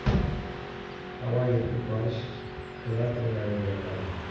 Havo yetib borish klapanlarini yopadi.